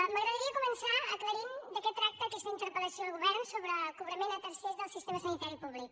m’agradaria començar aclarint de què tracta aquesta interpel·lació al govern sobre el cobrament a tercers del sistema sanitari públic